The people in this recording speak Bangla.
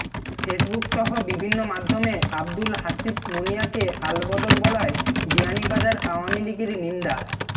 ফেসবুকসহ বিভিন্ন মাধ্যমে আব্দুল হাসিব মনিয়াকে আলবদর বলায় বিয়ানীবাজার আওয়ামী লীগের নিন্দা